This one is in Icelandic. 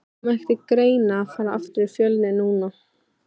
Kom ekki til greina að fara aftur í Fjölni núna?